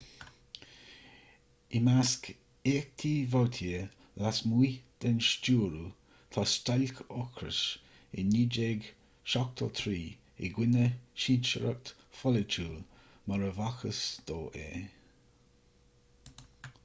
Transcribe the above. i measc éachtaí vautier lasmuigh den stiúradh tá stailc ocrais i 1973 i gcoinne cinsireacht pholaitiúil mar a b'fhacthas dó é